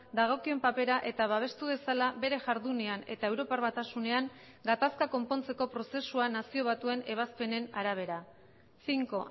dagokion papera eta babestu dezala bere jardunean eta europar batasunean gatazka konpontzeko prozesuan nazio batuen ebazpenen arabera cinco